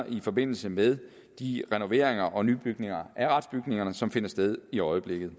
i forbindelse med de renoveringer og nybygninger af retsbygningerne som finder sted i øjeblikket